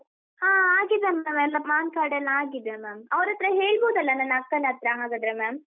ಹಾ ಆಗಿದೆ ma’am , ಎಲ್ಲ Pan card ಎಲ್ಲ ಆಗಿದೆ ma’am , ಅವ್ರತ್ರ ಹೇಳ್ಬೋದಲ್ಲ ನನ್ನ ಅಕ್ಕನತ್ರ ಹಾಗಾದ್ರೆ ma’am ?